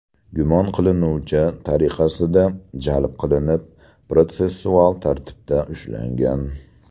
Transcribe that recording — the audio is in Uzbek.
gumon qilinuvchi tariqasida jalb qilinib, protsessual tartibida ushlangan.